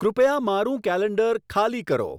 કૃપયા મારું કેલેન્ડર ખાલી કરો